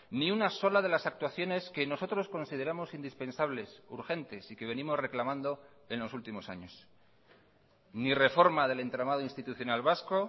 ni una sola de las actuaciones que nosotros consideramos indispensables urgentes y que venimos reclamando en los últimos años ni reforma del entramado institucional vasco